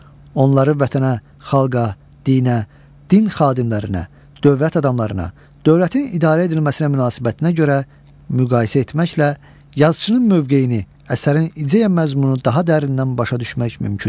Onları vətənə, xalqa, dinə, din xadimlərinə, dövlət adamlarına, dövlətin idarə edilməsinə münasibətinə görə müqayisə etməklə yazıçının mövqeyini, əsərin ideya məzmunu daha dərindən başa düşmək mümkündür.